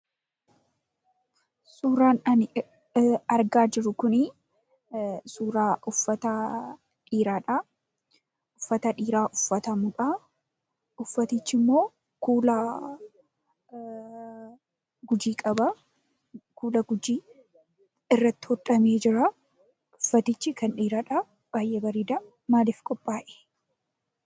Suuraa ani argaa jiru kun suuraa uffata dhiiraadha. Uffata dhiiraa uffatamuudha. Uffatichimmoo kuula Gujii qaba. Kuuulli Gujii irratti hodhamee jira. Uffatichi kan dhiiraadha. Baay'ee bareeda. Maaliif qophaa'ee?